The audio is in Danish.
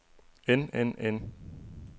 end end end